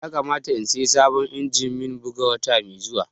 Ya kamata in saya sabon injimin bugu wata mai zuwa